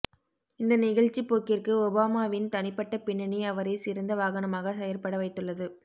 இந்த நிகழ்ச்சிப்போக்கிற்கு ஒபாமாவின் தனிப்பட்ட பின்னணி அவரைச் சிறந்த வாகனமாக செயற்படச் செய்துள்ளது